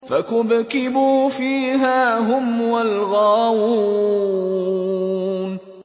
فَكُبْكِبُوا فِيهَا هُمْ وَالْغَاوُونَ